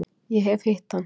Ég hef hitt hann.